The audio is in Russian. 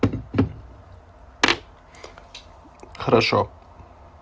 хорошо